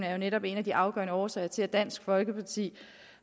er netop en af de afgørende årsager til at dansk folkeparti